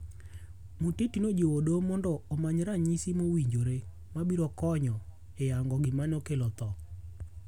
Muteti nojiwo doho mondo omanyo ranyisi mowinjore mabiro konyo e yango gima nokelo tho.